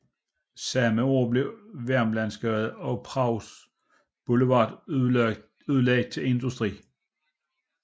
Samme år blev området ved Vermlandsgade og Prags Boulevard udlagt til industri